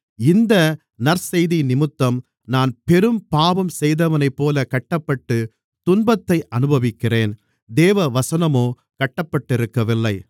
இந்த நற்செய்தியினிமித்தம் நான் பெரும் பாவம் செய்தவனைப்போலக் கட்டப்பட்டு துன்பத்தை அனுபவிக்கிறேன் தேவவசனமோ கட்டப்பட்டிருக்கவில்லை